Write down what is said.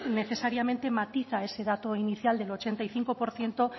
necesariamente matiza ese dato inicial del ochenta y cinco por ciento